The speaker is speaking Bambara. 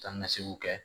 Taa ni ka seginw kɛ